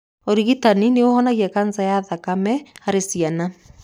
Ũrigitani nĩ ũhonagia kanca ya thakame harĩ ciana.